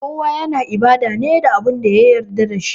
Kowa yana ibada ne da Abin da ya yarda da shi